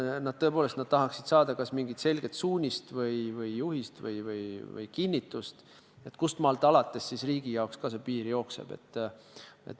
Seda, et nad tõepoolest tahaksid saada kas mingit selget suunist või juhist või kinnitust, kust maalt alates riigi jaoks see piir jookseb.